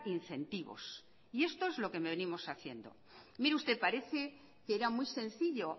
incentivos y esto es lo que venimos haciendo mire usted parece que era muy sencillo